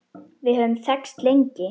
Við höfum þekkst lengi.